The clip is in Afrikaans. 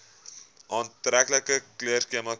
aantreklike kleurskema kies